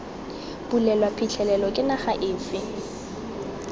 bulelwa phitlhelelo ke naga efe